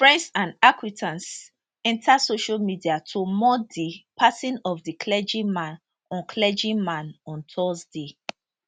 friends and acquaintances enta social media to mourn di passing of di clergyman on clergyman on thursday